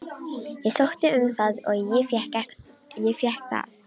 Ég sótti um það og ég fékk það.